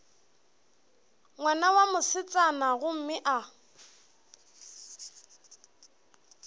ngwana wa mosetsana gomme a